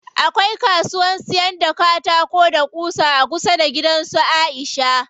Akwai kasuwan siyan katako da ƙusa a kusa da gidan su Aisha.